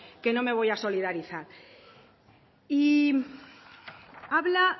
que no me voy a solidarizar y habla